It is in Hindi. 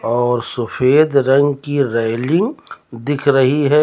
और सफेद रंग की रैलिंग दिख रही है।